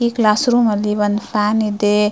ಈ ಕ್ಲಾಶ್ಸ್ರೂಮ್ ಅಲ್ಲಿ ಒಂದ್ ಫ್ಯಾನ್ ಇದೆ.